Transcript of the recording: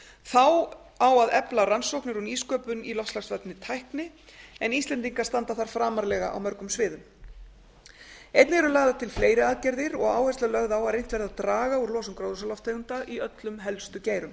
þá á að efla rannsóknir og nýsköpun í loftslagsvænni tækni en íslendingar standa þar framarlega á mörgum sviðum einnig eru lagðar til fleiri aðgerðir og áhersla lögð á að reynt verði að draga úr losun gróðurhúsalofttegunda í öllum helstu geirum